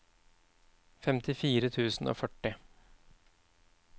femtifire tusen og førti